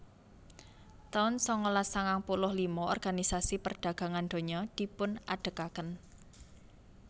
taun sangalas sangang puluh lima Organisasi Perdagangan Donya dipunadegaken